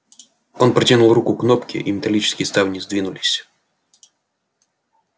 он протянул руку к кнопке и металлические ставни сдвинулись